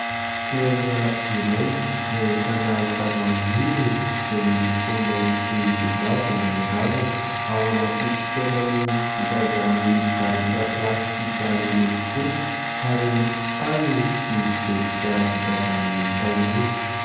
Fitoerana iray, izay ahitana zavamaniry, izay miloko mainty sy mavo ny raviny, ao anaty fitoerany vita avy amin'ny barika plastika miloko fotsy ary misy tany sy zezika vita avy amin'ny tain'omby.